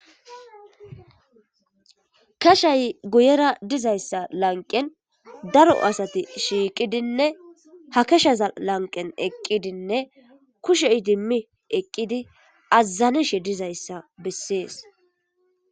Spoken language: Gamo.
kashay guyera dizayssa lanqen daro asati shiiqidinne ha kashaza lanqen eqqidinne kushe idimmi eqqidi azazaneshe dizayssa bessees